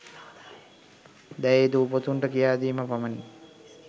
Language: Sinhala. දැයේ දූපුතුන්ට කියාදීම පමණි.